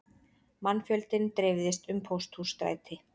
Mannfjöldinn dreifðist um Pósthússtræti